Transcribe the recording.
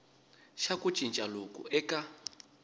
xa ku cinca loku eka